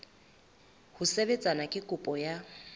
ho sebetsana le kopo ya